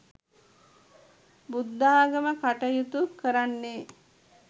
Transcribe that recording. බුද්ධාගම කටයුතු කරන්නේ